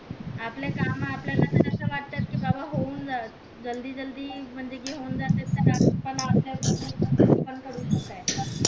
आपले काम कि बाबा होऊन जावेत जल्दी जल्दी म्हणजे घेऊन जातायत